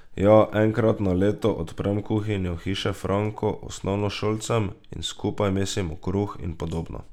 Ja, enkrat na leto odprem kuhinjo Hiše Franko osnovnošolcem in skupaj mesimo kruh in podobno.